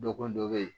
Dɔgɔkun dɔ bɛ yen